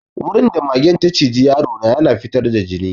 Wurin da magen ta ciji yaro na ya na fitar da jini.